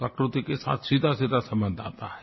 प्रकृति के साथ सीधासीधा संबंध आता है